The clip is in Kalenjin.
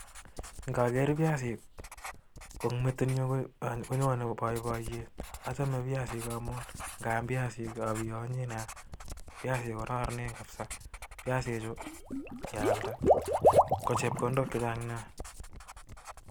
Ng'aker piasik, ko eng' metit nyu, konyone boiboiyet. Achame piasik amun ng'aam piasik abiyonyi nea. Piasik kokararanen kapsaa. Piasikchu, ng'ealda, ko chepkondok chechang' nea.